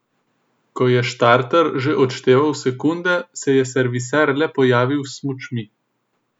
Ko je štarter že odšteval sekunde, se je serviser le pojavil s smučmi.